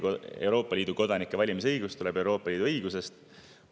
Euroopa Liidu kodanike valimisõigus tuleneb Euroopa Liidu õigusest.